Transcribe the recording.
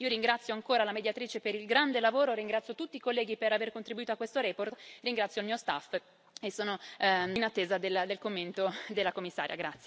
Io ringrazio ancora la Mediatrice per il grande lavoro, ringrazio tutti i colleghi per aver contribuito a questa relazione, ringrazio il mio staff e sono in attesa del commento della Commissaria.